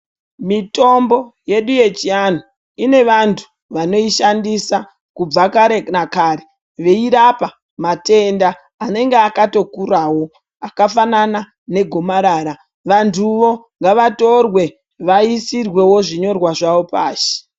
Mitombo yedu yechivanhu ine vantu vanoishandisa kubva kare nakara veyirapa matenda anenge akatokurawo akafanana negomarara vantuwoo ngavatorwe vaisirwewo zvinyorwa zvavo pashi.